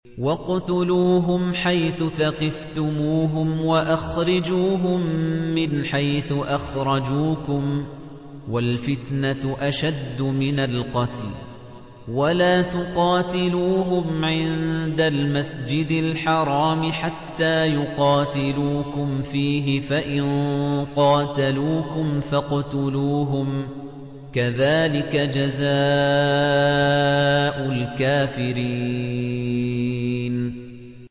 وَاقْتُلُوهُمْ حَيْثُ ثَقِفْتُمُوهُمْ وَأَخْرِجُوهُم مِّنْ حَيْثُ أَخْرَجُوكُمْ ۚ وَالْفِتْنَةُ أَشَدُّ مِنَ الْقَتْلِ ۚ وَلَا تُقَاتِلُوهُمْ عِندَ الْمَسْجِدِ الْحَرَامِ حَتَّىٰ يُقَاتِلُوكُمْ فِيهِ ۖ فَإِن قَاتَلُوكُمْ فَاقْتُلُوهُمْ ۗ كَذَٰلِكَ جَزَاءُ الْكَافِرِينَ